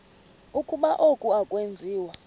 ukuba oku akwenziwa